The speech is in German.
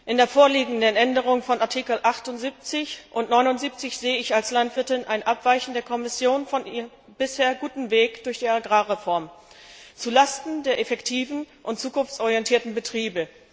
In der vorliegenden Änderung von Artikel 78 und 79 sehe ich als Landwirtin ein Abweichen der Kommission von ihrem bislang guten Weg durch die Agrarreform zu Lasten der effektiven und zukunftsorientierten Betriebe.